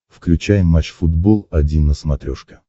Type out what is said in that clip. включай матч футбол один на смотрешке